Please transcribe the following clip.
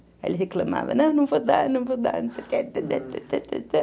Aí ele reclamava, não, não vou dar, não vou dar, não sei o quê